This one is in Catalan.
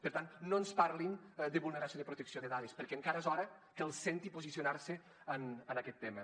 per tant no ens parlin de vulneració de protecció de dades perquè encara és hora que els senti posicionar se en aquest tema